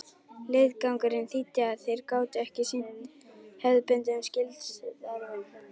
Leiðangurinn þýddi að þeir gátu ekki sinnt hefðbundnum skyldustörfum.